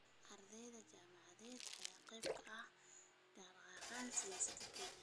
Ardeyda jaamacadaha ayaa qeyb ka ahaa dhaqdhaqaaqyada siyaasadeed ee Kenya.